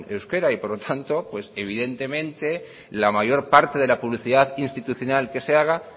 euskera y por lo tanto evidentemente la mayor parte de la publicidad institucional que se haga